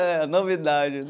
É, novidade.